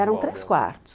Eram três quartos.